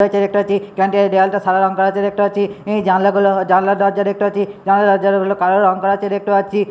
করা আছে দেখতে পাচ্ছি ক্যান্টিন -এর দেয়ালটা সাদা রঙ করা আছে দেখতে পাচ্ছি অ্যাঁ জানলা গুলো জানলা দরজা দেখতে পাচ্ছি জানলা দরজা গুলো কালো রঙ করা আছে দেখতে পাচ্ছি ।